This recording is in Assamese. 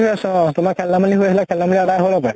হৈ আছে অ তোমাৰ খেল ধেমালী আছিলে। খেল ধেমালী আদাই হল হপায়।